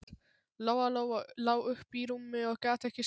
Lóa-Lóa lá uppi í rúmi og gat ekki sofnað.